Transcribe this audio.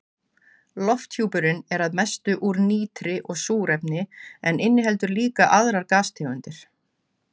Lofthjúpurinn er að mestu úr nitri og súrefni en inniheldur líka aðrar gastegundir.